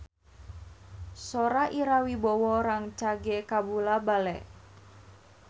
Sora Ira Wibowo rancage kabula-bale